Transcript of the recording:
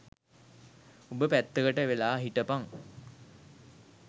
උඹ පැත්තකට වෙලා හිටපන්